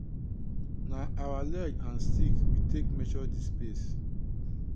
na our leg and stick we take measure di space.